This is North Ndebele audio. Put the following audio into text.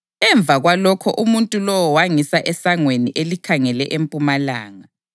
Emva kwalokho umuntu lowo wangisa esangweni elikhangele empumalanga,